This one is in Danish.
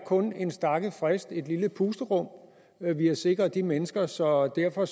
kun er en stakket frist et lille pusterum vi har sikret de mennesker så derfor